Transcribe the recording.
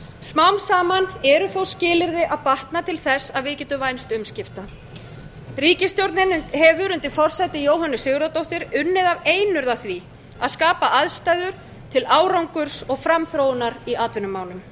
smám saman eru þó skilyrði að batna til þess að við getum vænst umskipta ríkisstjórnin hefur undir forsæti jóhönnu sigurðardóttur unnið af einurð að því að skapa aðstæður til árangurs og framþróunar í atvinnumálum